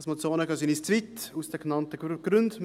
Als Motionen gehen sie uns aus den genannten Gründen zu weit.